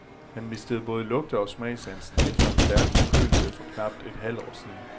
Han mistede både lugte- og smagssansen efter en stærk forkølelse for knap et halvt år siden.